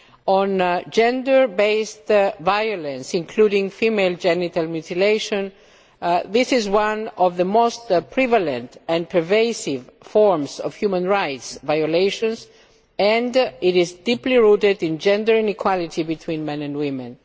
On gender based violence, including female genital mutilation this is one of the most prevalent and pervasive forms of human rights violations and it is deeply rooted in gender inequality between men and women.